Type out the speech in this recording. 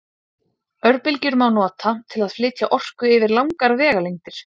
Örbylgjur má nota til að flytja orku yfir langar vegalengdir.